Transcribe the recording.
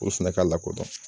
Olu fɛnɛ ka la ko dɔn.